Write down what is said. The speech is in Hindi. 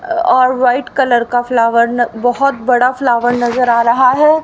अह और व्हाईट कलर का फ्लावर बहुत बड़ा फ्लावर नजर आ रहा है।